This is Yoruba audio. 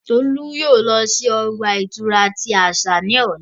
Tolu yoo lọ si ọgba-ìturá ti asa ni ọla.